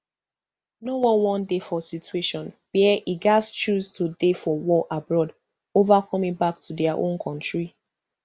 no one wan dey for situation wia e gatz choose to dey for war abroad ova coming back to dia own kontri